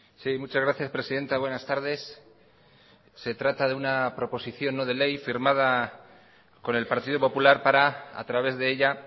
sí muchas gracias presidenta buenas tardes se trata de una proposición no de ley firmada con el partido popular para a través de ella